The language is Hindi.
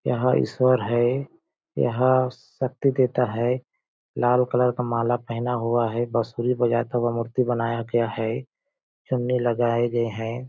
यह ईश्वर है यह शक्ति देता है लाल कलर का माला पहना हुआ है बसुरी बजाता हुआ मूर्ति बनाया गया है चुन्नी लगाए गए हैं।